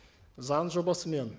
заң жобасымен